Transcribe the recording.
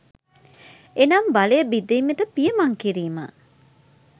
එනම් බලය බෙදීමට පියමන් කිරීම